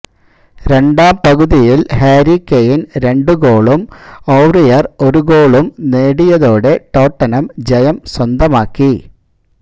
രണ്ടാം പകുതിയില് Harry Kane രണ്ട് ഗോളും ഔറിയര് ഒരു ഗോളും നേടിയതോടെ ടോട്ടനം ജയം സ്വന്തമാക്കി